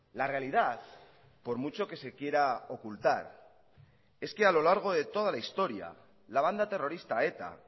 la realidad por mucho que se quiera ocultar es que a lo largo de toda la historia la banda terrorista eta